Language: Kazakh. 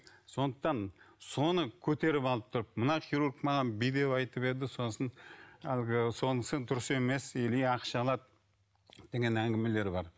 сондықтан соны көтеріп алып тұрып мына хирург маған бүй деп айтып еді сосын әлгі сонысы дұрыс емес или ақша алады деген әңгімелер бар